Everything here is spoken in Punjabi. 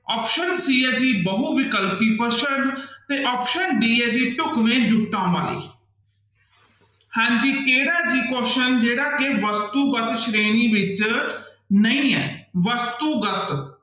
option c ਹੈ ਜੀ ਬਹੁ ਵਿਕਲਪੀ ਪ੍ਰਸ਼ਨ ਤੇ option d ਹੈ ਜੀ ਢੁਕਵੇਂ ਜੁੱਟਾਂ ਬਾਰੇ ਹਾਂਜੀ ਕਿਹੜਾ ਠੀਕ ਜਿਹੜਾ ਕਿ ਵਸਤੂਗਤ ਸ਼੍ਰੇਣੀ ਵਿੱਚ ਨਹੀਂ ਹੈ ਵਸਤੂਗਤ